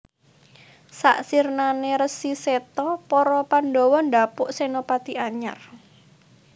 Sak sirnane Resi Seta para Pandhawa ndhapuk senopati anyar